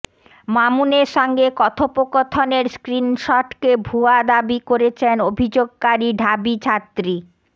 মামুনের সঙ্গে কথোপকথনের স্ক্রিনশটকে ভুয়া দাবি করেছেন অভিযোগকারী ঢাবি ছাত্রী